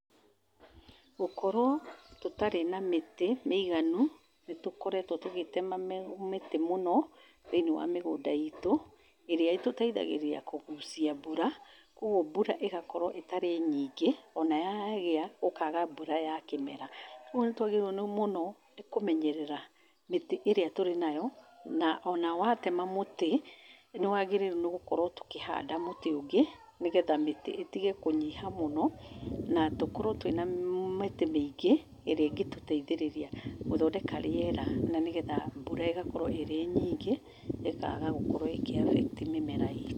Gũkorwo tũtarĩ na mĩtĩ mĩiganu, nĩtũkoretwo tũgĩtema mĩ mĩti mũno thĩiniĩ wa mĩgũnda itũ, ĩria ĩtũteithagĩrĩria kũgũcia mbura kwoguo mbura ĩgakorwo ĩtarĩ nyingi ona yagĩa gũkaga mbura ya kĩmera, kwoguo nĩ twagĩrĩirwo nĩ mũno nĩ kũmenyerera mĩtĩ ĩrĩa tũri nayo, ona watema mũtĩ nĩ wagĩrĩirwo nĩgũkorwo tũkĩhanda mũtĩ ũngĩ, nĩgetha mĩtĩ ĩtige kũnyiha mũno na tũkorwo twĩna mĩtĩ mĩingĩ ĩria ĩngĩtũteithĩrĩria gũthondeka rĩera na nĩgetha mbura ĩgakorwo ĩrĩ nyingĩ ĩkaga gũkorwo ĩkĩ affect mĩmera itũ.